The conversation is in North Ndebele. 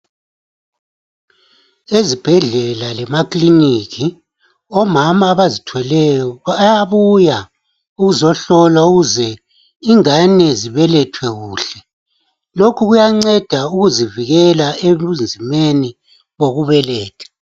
Ezibhedlela lema ekiliniki Omama abazithweleyo bayabuya ukuzohlolwa ukuze ingane zibelethwe kuhle .Lokhu kuyanceda ukuzivikela ebunzimeni bokubeletha .